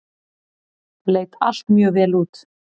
Leit allt mjög vel út.